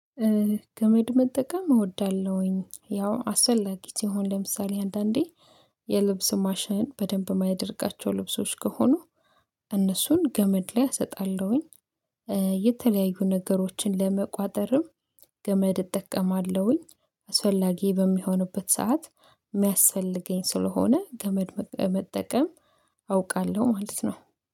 ገመድ መጠቀም እወዳለሁኝ ያው አሰላጊ ሲሆን ለምሳሌ አንዳንዴ የልብስ ማሽን በደንብ የማያደርቃቸው ልብሶች ከሆኑ እነሱን ገመድ ላይ አሰጣለሁኝ። የተለያዩ ነገሮችን ለመቋጠርም ገመድ እጠቀማለሁኝ። አስፈላጊ በሚሆንበት ሰዓት የሚያስፈልገኝ ስለሆነ ገመድ መጠቀም አውቃለሁ ማለት ነው